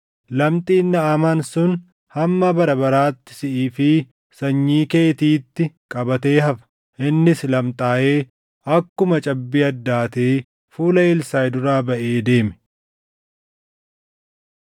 Lamxiin Naʼamaan sun hamma bara baraatti siʼii fi sanyii keetiitti qabatee hafa.” Innis lamxaaʼee akkuma cabbii addaatee fuula Elsaaʼi duraa baʼee deeme.